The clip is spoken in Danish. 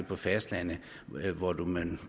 på fastlandet hvor man